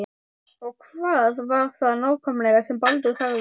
Og hvað var það nákvæmlega sem Baldur sagði?